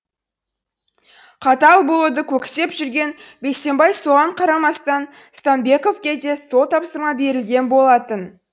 қатал болуды көксеп жүрген бейсенбай соған қарамастан стамбековке де сол тапсырма берілген болатын